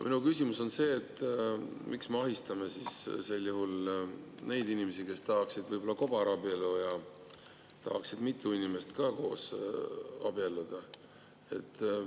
Minu küsimus on see: miks me ahistame sel juhul neid inimesi, kes tahaksid võib-olla kobarabielu, mitu inimest tahaksid abielluda?